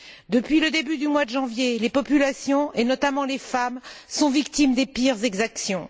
Depuis le début du mois de janvier, les populations, et notamment les femmes, sont victimes des pires exactions.